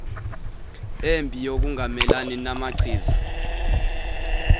embi yokungamelani namachiza